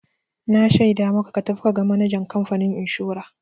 Na shaida maka ka tafi ka ga manajan kamfanin inshora!